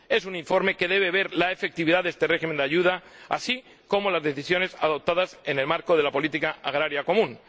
Es un informe que debe examinar la efectividad de este régimen de ayuda así como las decisiones adoptadas en el marco de la política agrícola común.